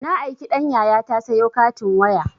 Na aiki ɗan yayata sayo katin waya